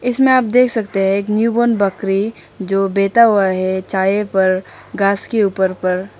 इसमें आप देख सकते हैं एक न्यू बोर्न बकरी जो बैठा हुआ है छाय पर घास के ऊपर पर।